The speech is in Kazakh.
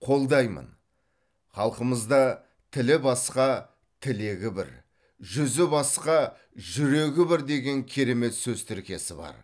қолдаймын халқымызда тілі басқа тілегі бір жүзі басқа жүрегі бір деген керемет сөз тіркесі бар